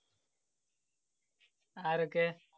ആരൊക്കെ?